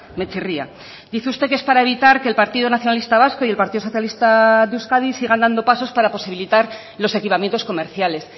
me chirria dice usted que es para evitar que el partido nacionalista vasco y el partido socialista de euskadi sigan dando pasos para posibilitar los equipamientos comerciales